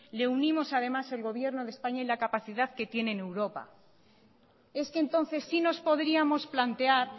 le unimos además el gobierno de españa y la capacidad que tiene en europa es que entonces si nos podríamos plantear